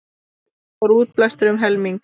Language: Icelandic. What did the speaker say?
Draga úr útblæstri um helming